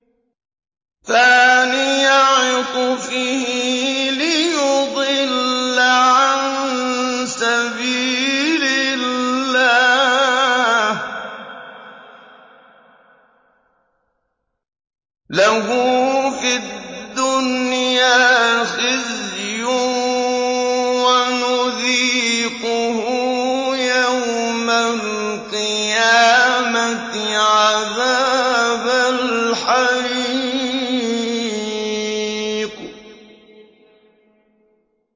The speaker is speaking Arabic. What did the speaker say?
ثَانِيَ عِطْفِهِ لِيُضِلَّ عَن سَبِيلِ اللَّهِ ۖ لَهُ فِي الدُّنْيَا خِزْيٌ ۖ وَنُذِيقُهُ يَوْمَ الْقِيَامَةِ عَذَابَ الْحَرِيقِ